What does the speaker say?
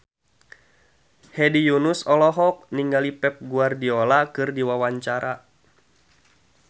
Hedi Yunus olohok ningali Pep Guardiola keur diwawancara